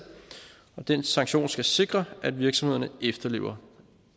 og den sanktion skal sikre at virksomhederne efterlever